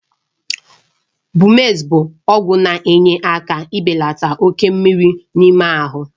Bumex bụ ọgwụ na-enyere aka ibelata oke mmiri n'ime ahụ.